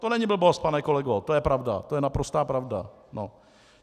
To není blbost, pane kolego , to je pravda, to je naprostá pravda.